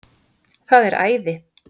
Það er æði